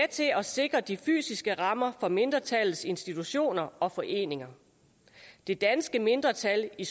at sikre de fysiske rammer for mindretallets institutioner og foreninger det danske mindretal i